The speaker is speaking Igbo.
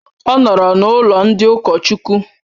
Ọ nọọrọ n'ụlọ ndị ụkọchukwu.